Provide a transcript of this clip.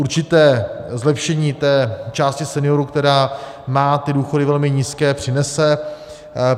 Určité zlepšení té části seniorů, která má ty důchody velmi nízké, přinese.